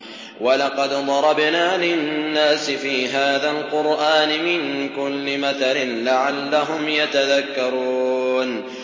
وَلَقَدْ ضَرَبْنَا لِلنَّاسِ فِي هَٰذَا الْقُرْآنِ مِن كُلِّ مَثَلٍ لَّعَلَّهُمْ يَتَذَكَّرُونَ